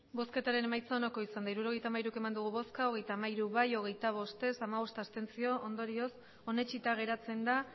emandako botoak hirurogeita hamairu bai hogeita hamaika ez hogeita bost abstentzioak hamabost ondorioz onetsita geratzen da